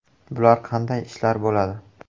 Bular qanday ishlar bo‘ladi?